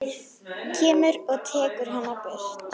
Kemur og tekur hana burt.